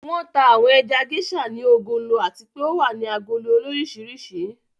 Wọn tà àwọn ẹja Geisha ní ògólọ̀ àti pè o wà ní àgólò orísíríṣì.